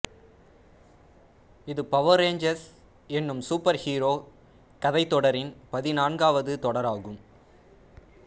இது power rangers என்னும் superhero கதைத் தொடரின் பதினான்காவது தொடராகும்